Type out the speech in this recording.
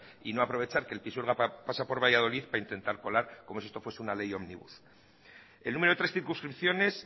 y no aprovechar que el pisuerga pasa por valladolid para intentar colar como si esto fuera una ley ómnibus el número de tres circunscripciones